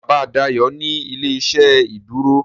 Bàbá Dayo ní ilé-iṣẹ́ ìdúró